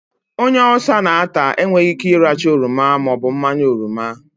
Onye Ulsa n'ata enweyi Ike iracha oroma maobu mmanya oroma